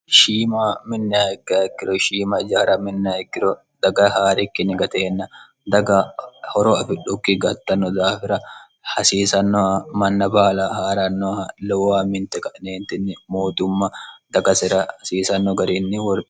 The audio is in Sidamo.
shiima minni haekkaikkiro shiima jaara minni ikkiro daga haa'rikkinni gateenna daga horo afidhukki gattanno daafira hasiisannoha manna baala haa'rannoha lowuwa minte qa'neentinni mootumma dagasira hasiisanno garinni woro